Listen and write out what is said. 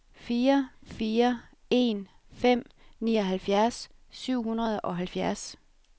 fire fire en fem nioghalvfjerds syv hundrede og halvfjerds